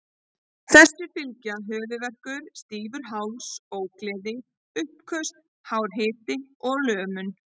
Þessu fylgja höfuðverkur, stífur háls, ógleði og uppköst, hár hiti og lömun.